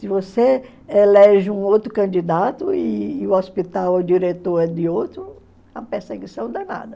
Se você elege um outro candidato e o hospital ou diretor é de outro, é uma perseguição danada.